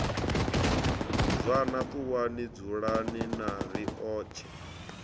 zwana ṱuwani dzulani na riotshe